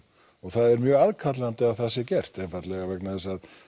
og það er mjög aðkallandi að það sé gert einfaldlega vegna þess að